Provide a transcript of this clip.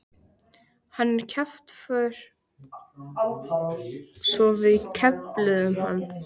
Hann er kjaftfor svo við kefluðum hann.